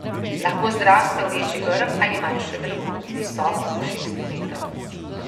Lahko zraste v večji grm ali manjše drevo, visoko do šest metrov.